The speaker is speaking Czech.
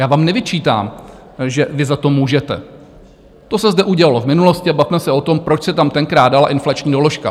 Já vám nevyčítám, že vy za to můžete, to se zde udělalo v minulosti, a bavme se o tom, proč se tam tenkrát dala inflační doložka.